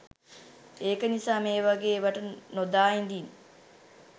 ඒක නිසා මේවගේ එවට නොදා ඉදින්